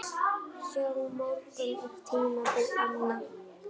Hjá mörgum er tímabil anna.